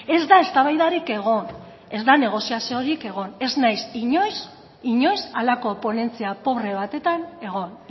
ez da eztabaidarik egon ez da negoziaziorik egon ez naiz inoiz halako ponentzia pobre batetan egon